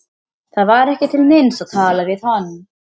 Það var ekki til neins að tala við hann.